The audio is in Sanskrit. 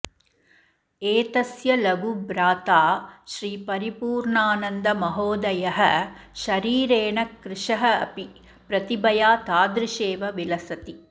एतस्य लघुभ्राता श्रीपरिपूर्णानन्दमहाेदयः शरीरेण कृशः अपि प्रतिभया तादृशेव विलसति